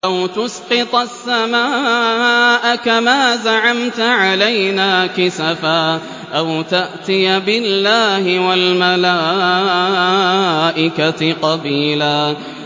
أَوْ تُسْقِطَ السَّمَاءَ كَمَا زَعَمْتَ عَلَيْنَا كِسَفًا أَوْ تَأْتِيَ بِاللَّهِ وَالْمَلَائِكَةِ قَبِيلًا